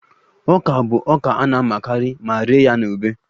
Ọka bụ ọka a na-amịkarị ma rie ya na ube